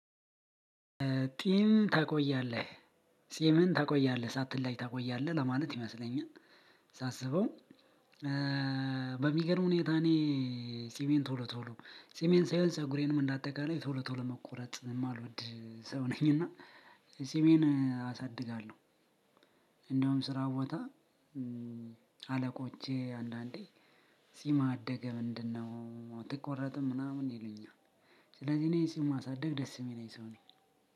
ጢም ታቆያለህ ፂምህን ታቆያለህ ሳትላጭ ታቆያለህ ለማለት ይመስለኛል። ሳስበው በሚገርም ሁኔታ እኔ ጺሜን ቶሎ ቶሎ ጺሜን ሳይሆን ፀጉሬንም እንደ አጠቃላይ ቶሎ ቶሎ መቆረጥ የማልወድ ሰው ነኝ። እና ጺሜን አሳድጋለሁ። እንደውም ስራ ቦታ አለቆቼ አንዳንዴ ፂምህ አደገ ምንድነው? አትቆረጥም ምናምን ይሉኛል። ስለዚህ እኔ ጺም ማሳደግ ደስ የሚለኝ ሰው ነኝ።